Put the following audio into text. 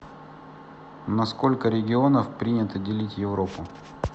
на сколько регионов принято делить европу